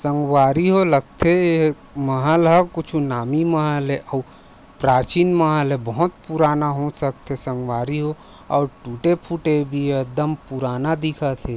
संगवारी हो लगथे ए महल हा कुछु नामी महल ए अउ प्राचीन महल ए बहोत पुराना हो सकथे संगवारी हो अउ टुटे-फ़ुटे भी हे एकदम पुराना दिखत हे।